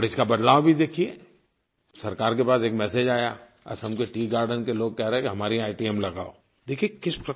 और इसका बदलाव भी देखिए सरकार के पास एक मेसेज आया असम के टीईए गार्डेन के लोग कह रहे हैं कि हमारे यहाँ एटीएम लगाओ